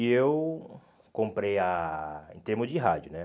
E eu comprei a... em termos de rádio, né?